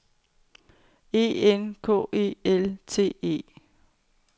E N K E L T E